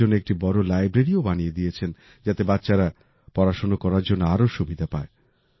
ওদের জন্য একটি বড় লাইব্রেরী ও বানিয়ে দিয়েছেন যাতে বাচ্চারা পড়াশোনা করার জন্য আরও সুবিধা পায়